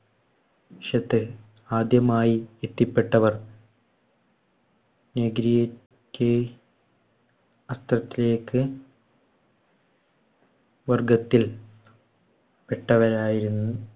ശത്തു ആദ്യമായി എത്തിപ്പെട്ടവർ ക്ക് ലേക്ക് വർഗ്ഗത്തിൽ പെട്ടവരായിരുന്ന